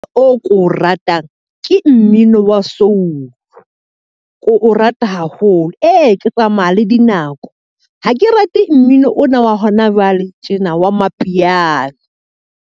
O ko ratang, ke mmino wa soul. Ke o rata haholo. Ee, ke tsamaya le dinako. Ha ke rate mmino ona wa hona jwale tjena wa mapiano.